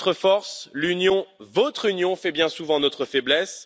de faire notre force, l'Union, votre union, fait bien souvent notre faiblesse.